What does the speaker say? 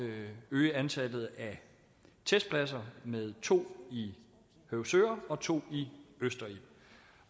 øge antallet af testpladser med to i høvsøre og to i østerild